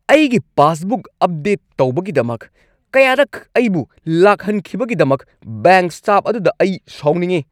ꯑꯩꯒꯤ passbook update ꯇꯧꯕꯒꯤꯗꯃꯛ ꯀꯌꯥꯔꯛ ꯑꯩꯕꯨ ꯂꯥꯛꯍꯟꯈꯤꯕꯒꯤꯗꯃꯛ ꯕꯦꯡꯛ ꯁ꯭ꯇꯥꯐ ꯑꯗꯨꯗ ꯑꯩ ꯁꯥꯎꯅꯤꯡꯏ ꯫